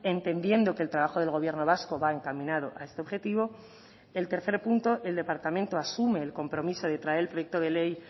entendiendo que el trabajo del gobierno vasco va encaminado a este objetivo el tercer punto el departamento asume el compromiso de traer el proyecto de ley